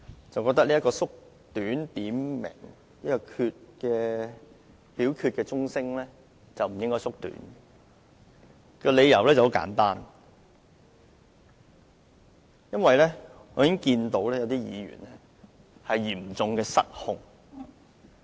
主席，我認為點名表決鐘聲的時間不應該縮短，理由很簡單，我見到有些議員已經嚴重失控。